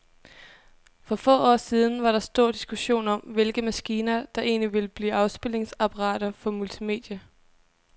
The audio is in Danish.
For få år siden var der stor diskussion om, hvilke maskiner, der egentlig ville blive afspilningsapparater for multimedia.